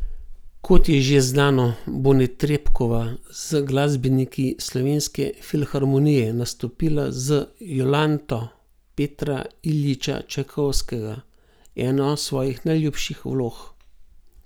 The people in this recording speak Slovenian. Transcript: Kot je že znano, bo Netrebkova z glasbeniki Slovenske filharmonije nastopila z Jolanto Petra Iljiča Čajkovskega, eno svojih najljubših vlog.